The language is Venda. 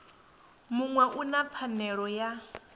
muṅwe u na pfanelo ya